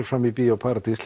fram í Bíó paradís